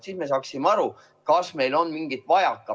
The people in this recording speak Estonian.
Siis me saaksime aru, kas meil on midagi vajaka.